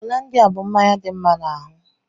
Hollandia bú mmanya dị mma n'ahụ.